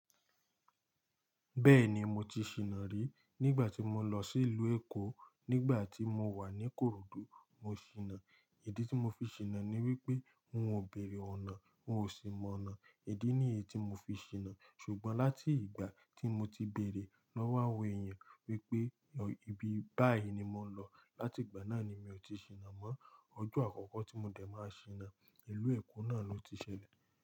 Bẹ́ẹ̀ni mo ti ṣìnà rí. Nígbà tí mo lọ sí ìlú Èkó, nígbà tí mo wà ní'Kòròdú, mo ṣìnà. Ìdí tí mo fi ṣìnà ni wípé n ó bèèrè ọ̀nà, n ò sì mọ̀nà. Ìdí nìyí tí mo fi ṣìnà, ṣùgbọ́n láti ìgbà tí mo ti bèèrè lọ́wọ́ àwọn èèyàn wípé ibi báyìí ni mò ń lọ, látìgbà náà ni mi ò ti ṣìnà mọ́. Ọjọ́ àkọ́kọ́ tí mo dẹ̀ máa ṣìnà, ìlú Èkó náà ló ti ṣẹlẹ̀